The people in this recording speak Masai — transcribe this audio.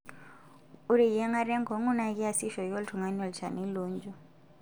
Ore eyiangata enkongu naa keasi eishooki oltung'ani olchani loonjio.